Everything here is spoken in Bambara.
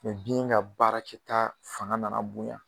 Mɛ biyɛn ka baarakɛta fanga nana bonya